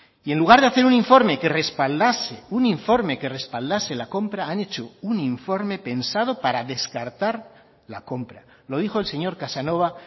y en lugar de hacer un informe que respaldase un informe que respaldase la compra han hecho un informe pensado para descartar la compra lo dijo el señor casanova